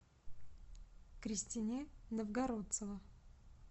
кристине новгородцева